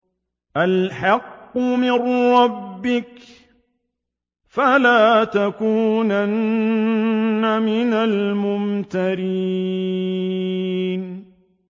الْحَقُّ مِن رَّبِّكَ ۖ فَلَا تَكُونَنَّ مِنَ الْمُمْتَرِينَ